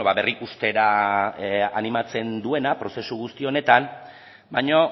berrikustera animatzen duena prozesu guzti honetan baina